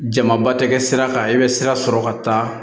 Jamaba tɛ kɛ sira kan i bɛ sira sɔrɔ ka taa